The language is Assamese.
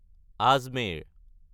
আজমেৰ